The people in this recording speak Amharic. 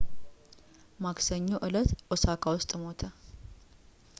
ማክሰኞ እለት ኦሳካ ውስጥ ሞተ